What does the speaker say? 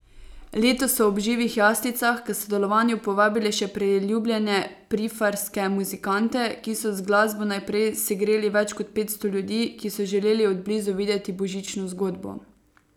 Letos so ob živih jaslicah k sodelovanju povabili še priljubljene Prifarske muzikante, ki so z glasbo najprej segreli več kot petsto ljudi, ki so želeli od blizu videti božično zgodbo.